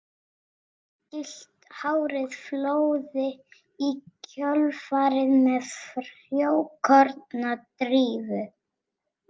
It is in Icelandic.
Gyllt hárið flóði í kjölfarið með frjókornadrífu.